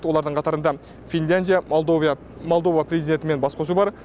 олардың қатарында финляндия молдова президентімен бас қосу бар